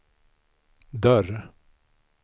dörr